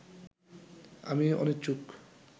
আমি অনিচ্ছুক